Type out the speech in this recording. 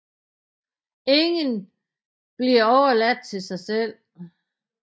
Ingen bliver overladt til sig selv